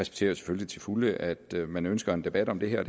selvfølgelig til fulde at man ønsker en debat om det her